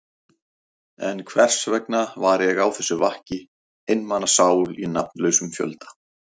En hversvegna var ég á þessu vakki, einmana sál í nafnlausum fjölda?